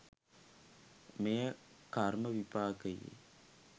මෙය කර්ම විපාකයේ